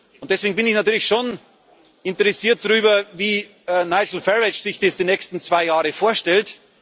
Und deswegen bin ich natürlich schon interessiert daran, wie Nigel Farage sich das die nächsten zwei Jahre vorstellt.